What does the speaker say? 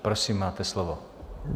Prosím, máte slovo.